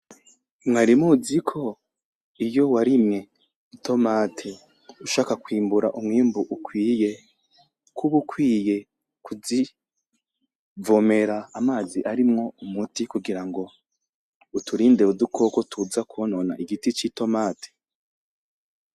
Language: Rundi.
Mwari muzi ko iyo warimye i "tomate" ushaka kwimbura umwimbu ukwiye , kuba ukwiye kuvomera amazi arimwo umuti kugira ngo uturinde udukoko tuza kwonona igiti c'i "tomate".